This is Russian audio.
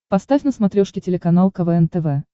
поставь на смотрешке телеканал квн тв